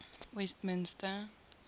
westminster